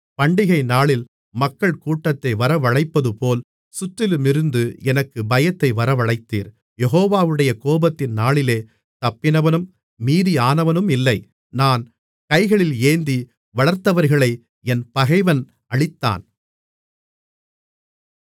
பண்டிகைநாளில் மக்கள் கூட்டத்தை வரவழைப்பதுபோல் சுற்றிலுமிருந்து எனக்கு பயத்தை வரவழைத்தீர் யெகோவாவுடைய கோபத்தின் நாளிலே தப்பினவனும் மீதியானவனுமில்லை நான் கைகளில் ஏந்தி வளர்த்தவர்களை என் பகைவன் அழித்தான்